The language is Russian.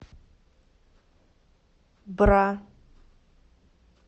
бра